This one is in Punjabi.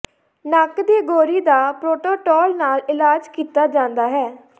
ਨੱਕ ਦੀ ਗੌਰੀ ਦਾ ਪ੍ਰੋਟੋਟੋਲ ਨਾਲ ਇਲਾਜ ਕੀਤਾ ਜਾਂਦਾ ਹੈ